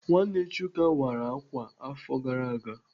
Nwanne Chuka wara ákwà afọ gara aga.